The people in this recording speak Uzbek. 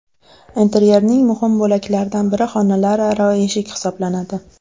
Interyerning muhim bo‘laklaridan biri xonalararo eshik hisoblanadi.